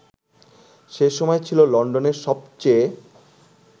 সে সময় ছিল লন্ডনের সবচেয়ে